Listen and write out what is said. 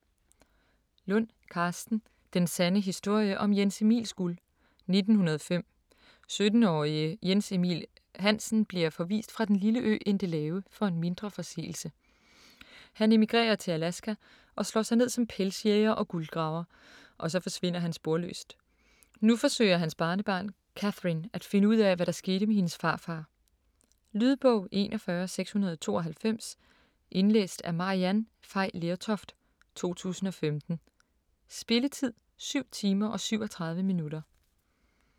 Lund, Karsten: Den sande historie om Jens Emils guld 1905. 17-årige Jens Emil Hansen bliver forvist fra den lille ø Endelave for en mindre forseelse. Han emigrerer til Alaska og slår sig ned som pelsjæger og guldgraver. Og så forsvinder han sporløst. Nu forsøger hans barnebarn, Catherine, at finde ud af, hvad der skete med hendes farfar. Lydbog 41692 Indlæst af Maryann Fay Lertoft, 2015. Spilletid: 7 timer, 37 minutter.